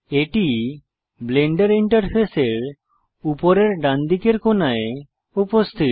এটি ব্লেন্ডার ইন্টারফেসের উপরের ডান দিকের কোণায় উপস্থিত